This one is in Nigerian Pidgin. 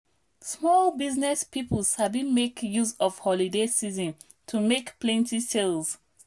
small business people sabi make use of holiday season to make plenty sales.